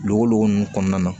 Luwogo ninnu kɔnɔna na